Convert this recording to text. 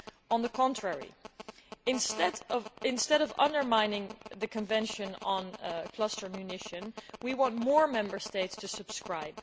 On the contrary, instead of undermining the Convention on Cluster Munitions, we want more Member States to subscribe.